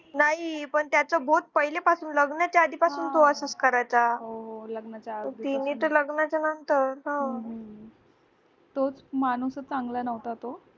नाही पण त्याचं बोट पहिल्यापासून लग्नाच्या आधीपासून तो असंच करायचं तिने तर र लग्नाच्या नंतर